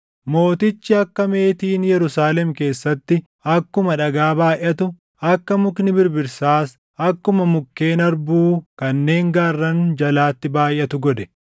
Mootichi akka meetiin Yerusaalem keessatti akkuma dhagaa baayʼatu, akka mukni birbirsaas akkuma mukkeen harbuu kanneen gaarran jalaatti baayʼatu godhe.